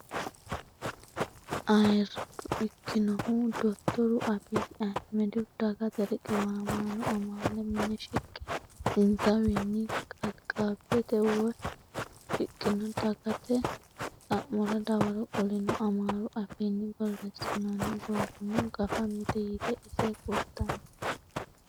Ayirrado ikkinohu dottoru abiyi ahimedihu dagate riqiwamaano amaale mine shiqe insawiinni kalaqabti o woyi shiqqino dagate xa'mora dawaro qolino. amaaru afiinni borreessinoonni borrono gafa mite yite ise kultanno.